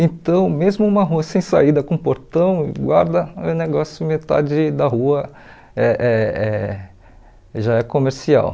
Então, mesmo uma rua sem saída com portão e guarda, o negócio metade da rua eh eh eh já é comercial.